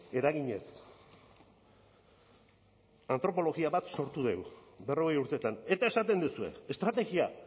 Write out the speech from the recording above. eraginez antropologia bat sortu dugu berrogei urteetan eta esaten duzue estrategia